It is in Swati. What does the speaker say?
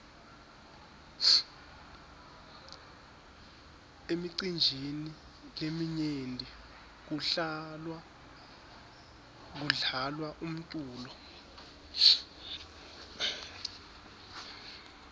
emicinjini leminyenti kudlalwa umculo